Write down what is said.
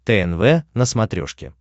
тнв на смотрешке